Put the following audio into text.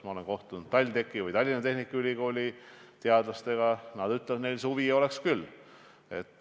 Ma olen kohtunud TalTechi ehk Tallinna Tehnikaülikooli teadlastega ja nemad ütlevad, et neil oleks huvi küll.